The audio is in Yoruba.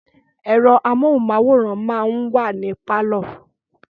Ẹ̀rọ amóhunmáwòrán máa ń wà ní pálọ̀